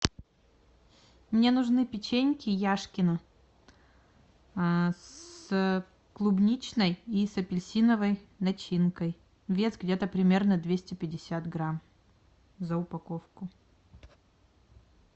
мне нужны печеньки яшкино а с клубничной и с апельсиновой начинкой вес где то примерно двести пятьдесят грамм за упаковку